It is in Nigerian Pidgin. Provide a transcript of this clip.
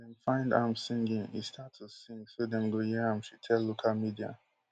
dem find am singing e start to sing so dem go hear am she tell local media